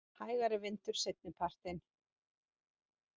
Hægari vindur seinnipartinn